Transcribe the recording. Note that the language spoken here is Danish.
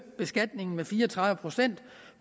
beskatningen med fire og tredive procent